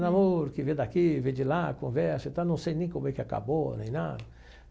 Namoro que vem daqui, vem de lá, conversa e tal, não sei nem como é que acabou, nem nada.